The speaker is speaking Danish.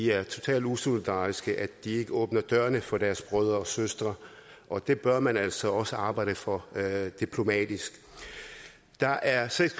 er totalt usolidarisk at de ikke åbner dørene for deres brødre og søstre og det bør man altså også arbejde for diplomatisk der er seks